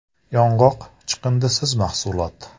Yong‘oq – chiqindisiz mahsulot.